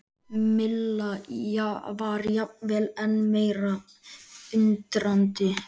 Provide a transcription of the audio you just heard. Milla var jafnvel enn meira undrandi.